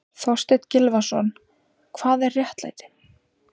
Þorstein Gylfason, Hvað er réttlæti?